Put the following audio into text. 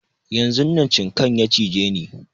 Yanzun nan cinkan ya cije ni